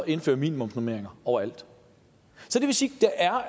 indføre minimumsnormeringer overalt så det vil sige